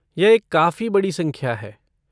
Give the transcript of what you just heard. यह एक काफ़ी बड़ी संख्या है।